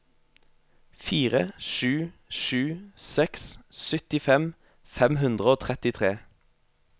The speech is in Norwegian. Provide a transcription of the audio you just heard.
fire sju sju seks syttifem fem hundre og trettitre